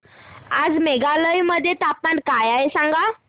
आज मेघालय मध्ये तापमान काय आहे सांगा